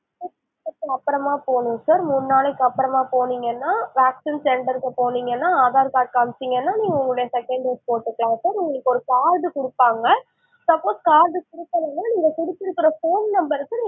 மூணு நாளுக்கு அப்பறமா போனும் sir மூணு நாளைக்கு அப்பறமா போனிங்கனா, vaccine center க்கு போனிங்கனா aadhar card காமிச்சிங்கனா நீங்க உங்களுடைய second dose போட்டுக்கலாம் sir உங்களுக்கு ஒரு card குடுப்பாங்க suppose card குடுக்கலைனா நீங்க குடுத்து இருக்கிற phone number க்கு